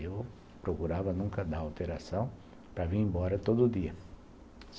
Eu procurava nunca dar alteração para vir embora todo dia.